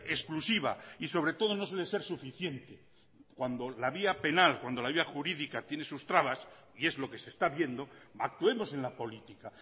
exclusiva y sobre todo no suele ser suficiente cuando la vía penal cuando la vía jurídica tiene sus trabas y es lo que se está viendo actuemos en la política